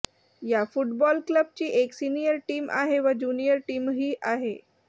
या फुटबॉल क्लबची एक सीनियर टीम आहे व ज्युनिअर टीमही आहे